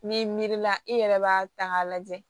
N'i miiri la i yɛrɛ b'a ta k'a lajɛ